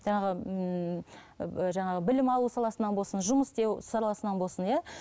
жаңағы ммм і жаңағы білім алу саласынан болсын жұмыс істеу саласынан болсын иә